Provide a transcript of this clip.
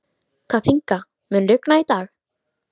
Kathinka, mun rigna í dag?